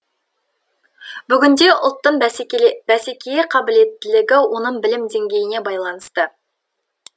бүгінде ұлттың бәсекеге қабілеттілігі оның білім деңгейіне байланысты